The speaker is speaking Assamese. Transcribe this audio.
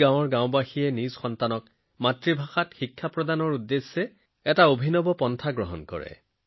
এই গাঁওখনে নিজৰ সন্তানক মাতৃভাষাত শিক্ষিত কৰাৰ এক নতুন পদক্ষেপ লৈছে